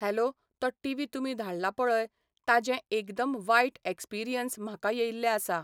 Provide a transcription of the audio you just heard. Hello तो TV तुमी धाडला पळय ताजें एकदम वायट एक्सपिरियंस म्हाका येयल्लें आसा.